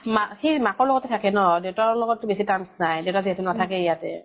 মাক, সি মাকৰ লগতে থাকে ন ? দেঊতাকৰ লগত বেছি terms নাই, দেউতা যিহেতু নাথাকে ইয়াতে ।